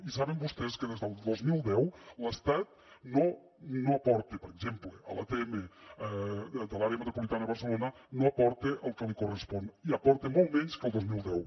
i saben vostès que des del dos mil deu l’estat per exemple a l’atm de l’àrea metropolitana de barcelona no hi aporta el que li correspon i hi aporta molt menys que el dos mil deu